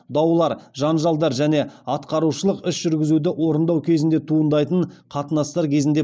даулар жанжалдар және атқарушылық іс жүргізуді орындау кезінде туындайтын қатынастар кезінде